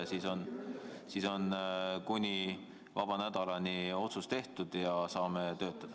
Siis on kuni istungivaba nädalani otsus tehtud ja saame töötada.